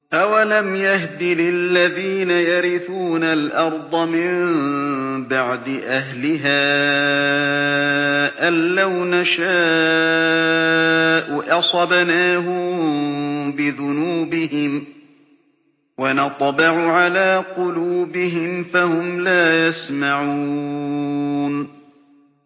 أَوَلَمْ يَهْدِ لِلَّذِينَ يَرِثُونَ الْأَرْضَ مِن بَعْدِ أَهْلِهَا أَن لَّوْ نَشَاءُ أَصَبْنَاهُم بِذُنُوبِهِمْ ۚ وَنَطْبَعُ عَلَىٰ قُلُوبِهِمْ فَهُمْ لَا يَسْمَعُونَ